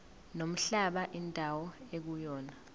nomhlaba indawo ekuyona